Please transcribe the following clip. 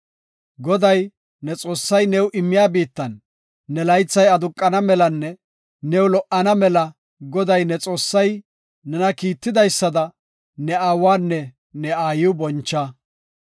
“Goday, ne Xoossay new immiya biittan ne laythay aduqana malanne new lo77ana mela Goday, ne Xoossay nena kiittidaysada ne aawanne ne aayiw boncha.